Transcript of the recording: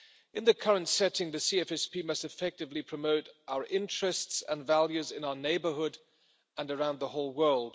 In the current setting, the CFSP must effectively promote our interests and values in our neighbourhood and around the whole world.